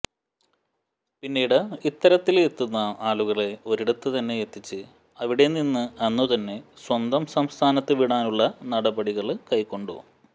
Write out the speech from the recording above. പിന്നീട് ഇത്തരത്തില് എത്തുന്ന ആളുകളെ ഒരിടത്ത് തന്നെ എത്തിച്ച് അവിടെ നിന്ന് അന്നുതന്നെ സ്വന്തം സംസ്ഥാനത്ത് വിടാനുള്ള നടപടികള് കൈക്കൊണ്ടു